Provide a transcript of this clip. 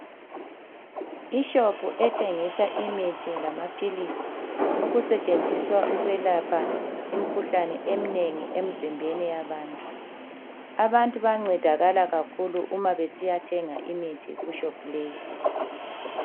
Ishopu ethengisa imithi lamaphilisi okusetshenziswa ukwelapha imikhuhlane eminengi emzimbeni yabantu. Abantu bayancedakala kakhulu umabesiya thenga imithi kushopu leyi.